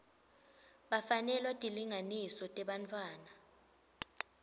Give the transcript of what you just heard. bafanelwa tilinganiso tebantfwana